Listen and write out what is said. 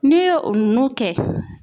N'i ye o ninnu kɛ